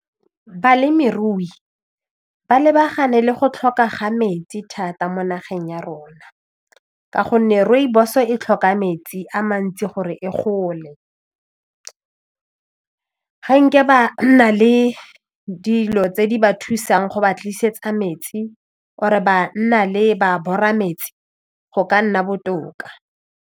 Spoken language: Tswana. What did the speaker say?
Balemirui ba lebagane le go tlhoka ga metsi thata mo nageng ya rona ka gonne rooibos e tlhoka metsi a mantsi gore e gole ga ba na le dilo tse di ba thusang go ba tlisetsa metsi or-e ba nna le ba bora metsi go ka nna botoka.